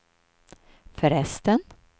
förresten